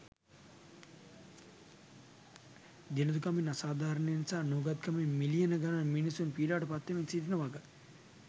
දිළිඳුකමින් අසාධාරණයෙන් සහ නූගත්කමින් මිලියන ගණනක් මිනිසුන් පීඩාවට පත්වෙමින් සිටින වග.